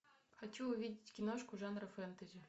хочу увидеть киношку жанра фэнтези